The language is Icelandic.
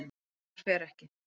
Herjólfur fer ekki